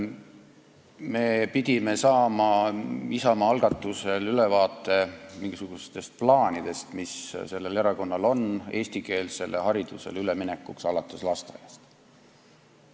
Me pidime saama Isamaa algatusel ülevaate mingisugustest plaanidest, mis sellel erakonnal on eestikeelsele haridusele ülemineku kohta alates lasteaiast.